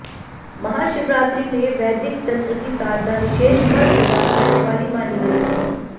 महाशिवरात्रि में वैदिक तंत्र की साधना विशेष फल प्रदान करने वाली मानी गई है